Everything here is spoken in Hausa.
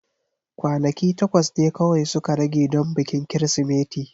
Kwanaki takwas ne kawai suka rage don bikin Kirsimeti.